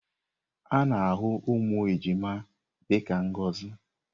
A na-ahụ ụmụ ejima dị ka ngọzi.